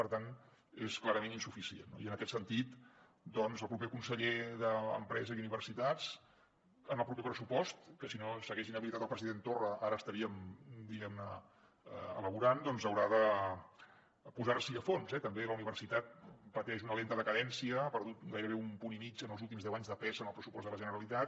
per tant és clarament insuficient no i en aquest sentit doncs el proper conseller d’empresa i universitats en el proper pressupost que si no s’hagués inhabilitat el president torra ara l’estaríem diguem ne elaborant doncs haurà de posar s’hi a fons eh també la universitat pateix una lenta decadència ha perdut gairebé un punt i mig en els últims deu anys de pes en el pressupost de la generalitat